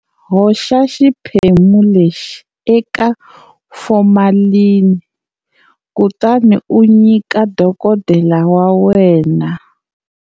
Hoxa xiphemu lexi eka formalini kutani u nyika dokodela wa wena.